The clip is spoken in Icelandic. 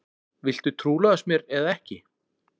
Viltu trúlofast mér eða ekki?